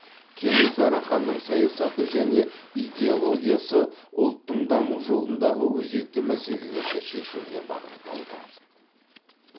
кенесары ханның саясаты және идеологиясы ұлттың даму жолындағы өзекті мәселелерді шешуге бағытталды